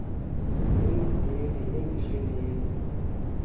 din dilili yindishilili